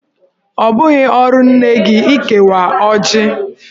Ọ bụghị ọrụ nne gi ịkewa ọjị.